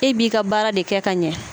E b'i ka baara de kɛ ka ɲɛ.